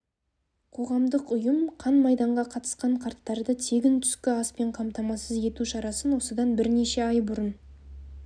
қоғамдық ұйым қан майданға қатысқан қарттарды тегін түскі аспен қамтамасыз ету шарасын осыдан бірнеше ай бұрын